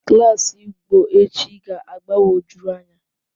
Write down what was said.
Klas Igbo echi ga-agbagwojuru anya